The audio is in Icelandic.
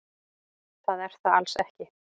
Það er það alls ekki.